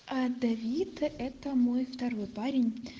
а давид это мой второй парень